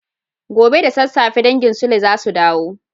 Gobe ​​da sassafe dangin sule zasu dawo